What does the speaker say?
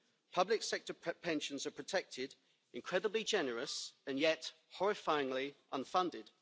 Public sector pensions are protected, incredibly generous and yet horrifyingly unfunded.